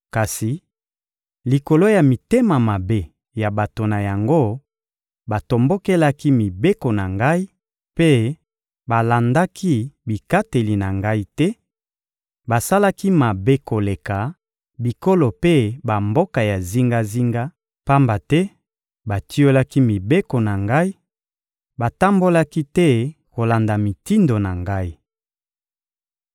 Kasi likolo ya mitema mabe ya bato na yango, batombokelaki mibeko na Ngai mpe balandaki bikateli na Ngai te; basalaki mabe koleka bikolo mpe bamboka ya zingazinga, pamba te batiolaki mibeko na Ngai, batambolaki te kolanda mitindo na Ngai.